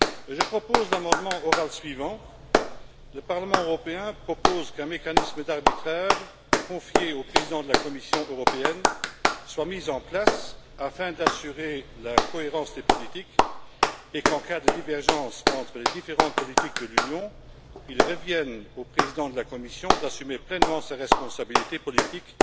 je propose l'amendement oral suivant Le Parlement européen propose qu'un mécanisme d'arbitrage confié au président de la Commission européenne soit mis en place afin d'assurer la cohérence des politiques et qu'en cas de divergence entre les différentes politiques de l'Union, il revienne au président de la Commission d'assumer pleinement ses responsabilités politiques